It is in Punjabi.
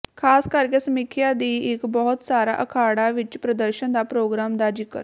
ਖ਼ਾਸ ਕਰਕੇ ਸਮੀਖਿਆ ਦੀ ਇੱਕ ਬਹੁਤ ਸਾਰਾ ਅਖਾੜਾ ਵਿਚ ਪ੍ਰਦਰਸ਼ਨ ਦਾ ਪ੍ਰੋਗਰਾਮ ਦਾ ਜ਼ਿਕਰ